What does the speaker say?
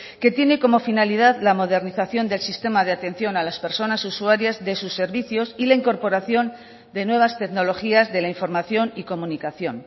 que tiene como finalidad la modernización del sistema de atención a las personas usuarias de sus servicios y la incorporación de nuevas tecnologías de la información y comunicación